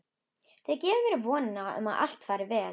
Þau gefa mér vonina um að allt fari vel.